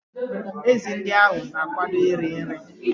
Ezi ndị ahụ na-akwado iri nri.